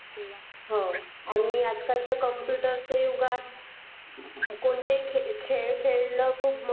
हो आणि आजकालचे कॉम्पुटर चा युगात कोणतेही खेळ खेळणं खूप महत्वाचं आहे.